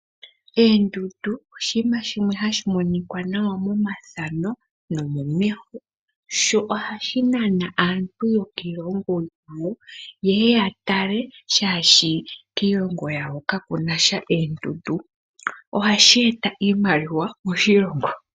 Oondundu oshinima shimwe hashi monika nawa momathano nomomeho sho ohashi nana aantu yokiilongo yilwe ye ya tale, oshoka kiilongo yawo kaku na sha oondundu. Ohashi eta iimaliwa moshilongo.